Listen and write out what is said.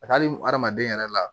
hali hadamaden yɛrɛ la